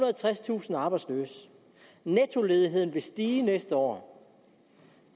og tredstusind arbejdsløse nettoledigheden vil stige næste år